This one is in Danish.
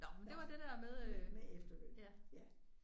Godt med efterløn ja